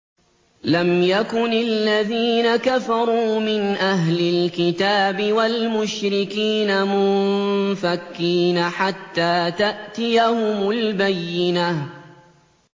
لَمْ يَكُنِ الَّذِينَ كَفَرُوا مِنْ أَهْلِ الْكِتَابِ وَالْمُشْرِكِينَ مُنفَكِّينَ حَتَّىٰ تَأْتِيَهُمُ الْبَيِّنَةُ